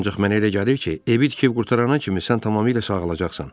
Ancaq mən elə gəlir ki, evi tikib qurtarana kimi sən tamamilə sağalacaqsan.